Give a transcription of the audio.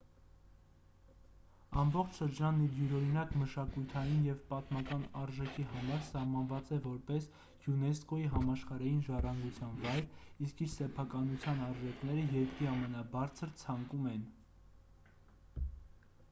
ամբողջ շրջանն իր յուրօրինակ մշակութային և պատմական արժեքի համար սահմանված է որպես յունեսկօ-ի համաշխարհային ժառանգության վայր իսկ իր սեփականության արժեքները երկրի ամենաբարձր ցանկում են